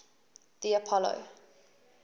the apollo